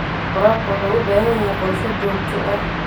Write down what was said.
Waraabka wuxuu u baahan yahay qorshe joogto ah.